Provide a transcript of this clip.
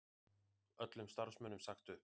Öllum starfsmönnum sagt upp